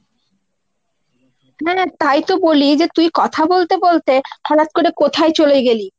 হ্যাঁ তাইতো বলি যে তুই কথা বলতে বলতে হঠাৎ করে কোথায় চলে গেলি ?